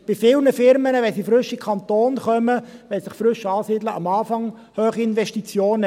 Viele Unternehmen haben, wenn sie frisch in den Kanton kommen, wenn sie sich frisch ansiedeln, am Anfang hohe Investitionen.